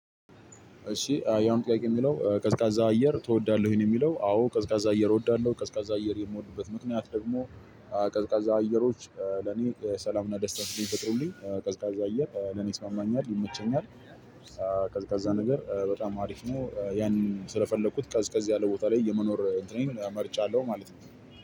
እሺ ያውም ጥያቄ የሚለው ቀዝቃዛ አየር ትወዳለህ ይሄን የሚለው አዎ ቀዝቃዛ አየር እወዳለሁ። ቀዝቃዛ አየር የምወድበት ምክንያት ደግሞ ቀዝቃዛ አየሮች ለኔ ሰላምና ደስታን ስለሚፈጥሩልኝ ቀዝቃዛ አየር ለኔ ይስማማኛል ይመቸኛል። ቀዝቃዛ ነገር በጣም አሪፍ ነው። ያንን ስለፈለኩት ቀዝቃዛ ያለ ቦታ ላይ የመኖር ድሪም መርጫ አለሁ ማለት ነው።